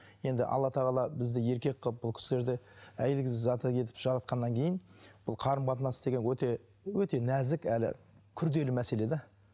енді алла тағала бізді еркек қылып бұл кісілерді әйелі заты етіп жаратқаннан кейін бұл қарым қатынас деген өте өте нәзік әрі күрделі мәселе де